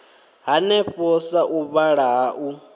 hanefho sa u vhulaha u